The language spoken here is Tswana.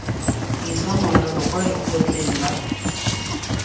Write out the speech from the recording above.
isa morero kwa lekgotleng la